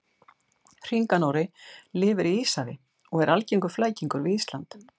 Hringanóri lifir í Íshafi og er algengur flækingur við Ísland.